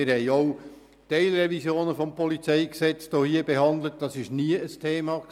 Wir haben hier auch Teilrevisionen des PolG behandelt, und das war nie ein Thema.